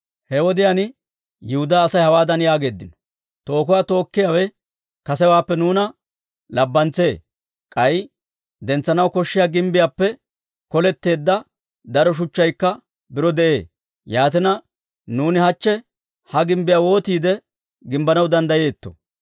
He wodiyaan Yihudaa Asay hawaadan yaageeddino; «Tookuwaa tookkiyaawe kasewaappe nuuna labbantsee; k'ay dentsanaw koshshiyaa gimbbiyaappe koletteedda daro shuchchaykka biro de'ee. Yaatina, nuuni hachche ha gimbbiyaa wootiide gimbbanaw danddayeetto?»